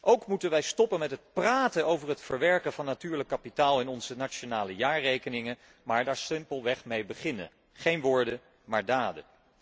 Ook moeten wij stoppen met praten over het verwerken van natuurlijk kapitaal in onze nationale jaarrekeningen, maar daar simpelweg mee beginnen geen woorden, maar daden!